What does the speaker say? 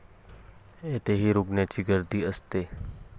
तेथेही रुग्णांची गर्दी असते.